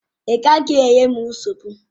Ị gaghị enye m nsogbu!